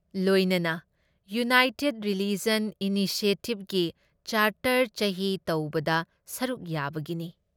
ꯂꯣꯏꯅꯅ United Religions Initiative ꯒꯤ charter ꯆꯍꯤ ꯇꯧꯕꯗ ꯁꯔꯨꯛ ꯌꯥꯕꯒꯤꯅꯤ ꯫